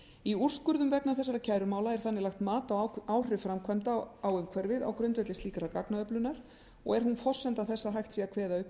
í úrskurðum vegna þessara kærumála er þannig lagt mat á áhrif framkvæmda á umhverfið á grundvelli slíkrar gagnaöflunar og er hún forsenda þess að hægt sé að kveða upp